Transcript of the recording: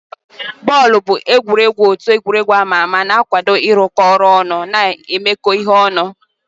Bọọlụ bụ egwuregwu otu egwuregwu ama ama na-akwado ịrụkọ ọrụ ọnụ na imekọ ihe ọnụ.